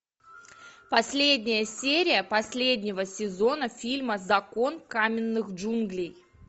последняя серия последнего сезона фильма закон каменных джунглей